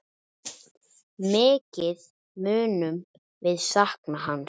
Mikið munum við sakna hans.